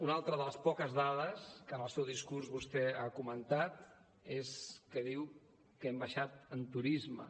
una altra de les poques dades que en el seu discurs vostè ha comentat és que diu que hem baixat en turisme